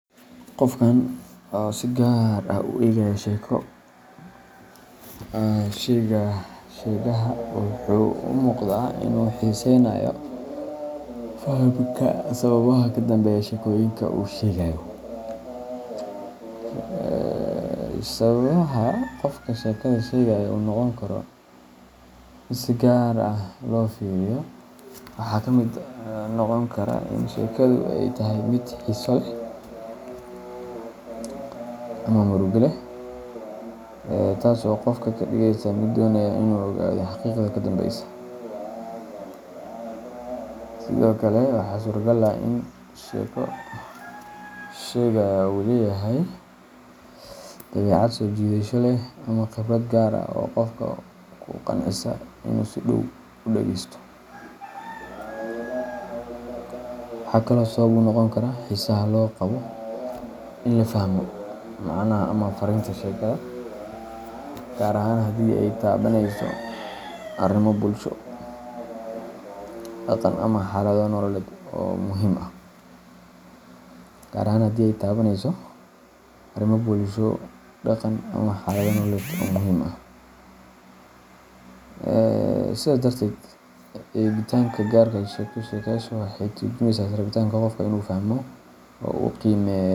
Qofkan oo si gaar ah u eegaya sheeko sheegaha waxa uu u muuqdaa inuu xiiseynayo fahamka sababaha ka dambeeya sheekooyinka uu sheegayo. Sababaha qofka sheekada sheegaya u noqon karo mid si gaar ah loo fiiriyo waxaa ka mid noqon kara in sheekadu ay tahay mid xiiso leh ama murugo leh, taas oo qofka ka dhigaysa mid doonaya inuu ogaado xaqiiqada ka dambeysa. Sidoo kale, waxaa suuragal ah in sheeko sheegaha uu leeyahay dabeecad soo jiidasho leh ama khibrad gaar ah oo qofka ku qancisa inuu si dhow u dhegeysto. Waxaa kaloo sabab u noqon kara xiisaha loo qabo in la fahmo macnaha ama fariinta sheekada, gaar ahaan haddii ay taabaneyso arrimo bulsho, dhaqan, ama xaalado nololeed oo muhiim ah. Sidaas darteed, eegidda gaarka ah ee sheeko sheegaha waxay ka turjumaysaa rabitaanka qofka ee ah inuu fahmo oo uu qiimeeyo.